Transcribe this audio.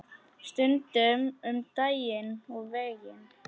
Stundum um daginn og veginn.